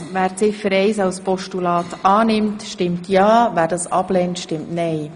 Wer Ziffer eins als Postulat annimmt, stimmt ja, wer sie ablehnt, stimmt nein.